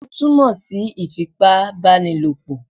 Ó túmọ̀ sí ìfipá ìbá ni lòpọ̀